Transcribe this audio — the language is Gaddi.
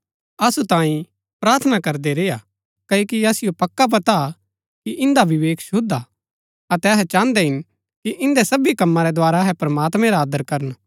असु तांई प्रार्थना करदै रेय्आ क्ओकि असिओ पक्का पता हा कि इन्दा विवेक शुद्व हा अतै अहै चाहन्दै हिन कि इन्दै सबी कमा रै द्धारा अहै प्रमात्मैं रा आदर करन